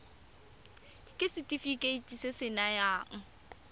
ke setefikeiti se se nayang